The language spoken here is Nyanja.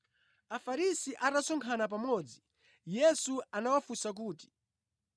Afarisi atasonkhana pamodzi, Yesu anawafunsa kuti,